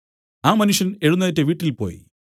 ആ മനുഷ്യൻ എഴുന്നേറ്റ് വീട്ടിൽപോയി